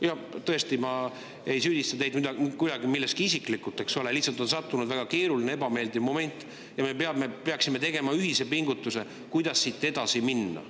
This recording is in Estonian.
Ja tõesti, ma ei süüdista teid isiklikult milleski, eks ole, lihtsalt on väga keeruline, ebameeldiv moment ja me peaksime tegema ühise pingutuse, et siit edasi minna.